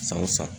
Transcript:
San o san